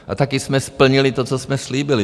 A taky jsme splnili to, co jsme slíbili.